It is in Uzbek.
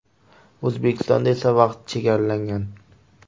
O‘zbekistonda esa vaqt chegaralangan.